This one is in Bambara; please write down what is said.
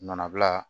Nɔnɔ bila